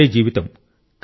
అదే జీవితం